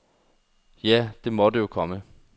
Ja, det måtte jo komme.